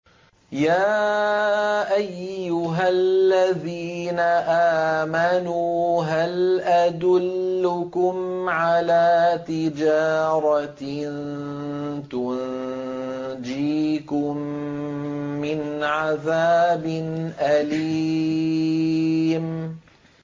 يَا أَيُّهَا الَّذِينَ آمَنُوا هَلْ أَدُلُّكُمْ عَلَىٰ تِجَارَةٍ تُنجِيكُم مِّنْ عَذَابٍ أَلِيمٍ